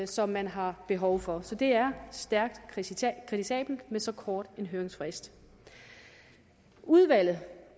som man har behov for så det er stærkt kritisabelt med så kort en høringsfrist udvalget